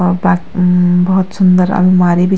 और बात म-म भौत सुन्दर अलमारी भी।